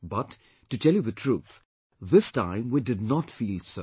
But, to tell you the truth, this time we did not feel so